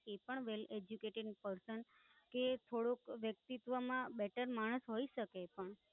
એ પણ Well Educated Person, એ થોડુંક વ્યક્તિત્વમાં Better માણસ હોઈ શકે પણ